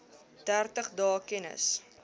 dertig dae kennis